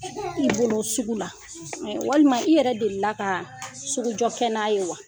I bolo sugu la walima i yɛrɛ delia ka sugujɔkɛ n'a ye wa?